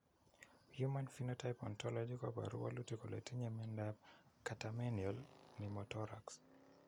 Human Phenotype Ontology koporu wolutik kole itinye Miondap Catamenial pneumothorax.